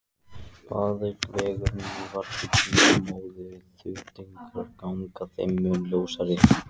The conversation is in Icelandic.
Batavegurinn var hulinn móðu en þrautagangan þeim mun ljósari.